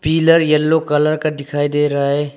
Pillar yellow colour का दिखाई दे रहा है।